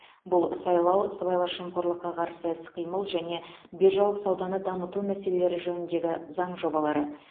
бұл сайлау сыбайлас жемқорлыққа қарсы іс қимыл және биржалық сауданы дамыту мәселелері жөніндегі заң жобалары